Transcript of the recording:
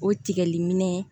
O tigɛli minɛ